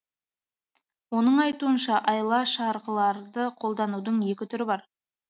оның айтуынша айла шарғыларды қолданудың екі түрі бар